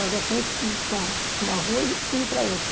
Lá da frente, com uma uma rua e fundo para a outra.